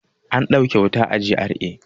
An dauke wuta a GRA.